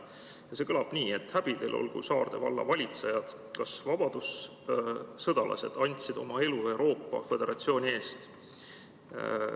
Ja see kõlab nii: "Häbi teil olgu, Saarde valla valitsejad: kas vabadussõdalased andsid oma elu Euroopa föderatsiooni eest?